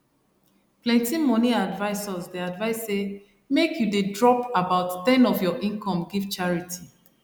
plenty money advisors dey advise say make you dey drop about ten of your income give charity